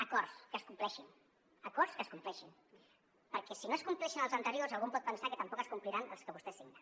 acords que es compleixin acords que es compleixin perquè si no es compleixen els anteriors algú pot pensar que tampoc es compliran els que vostè signa